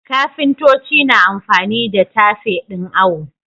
Kafintoci na amfani da tafe ɗin awo.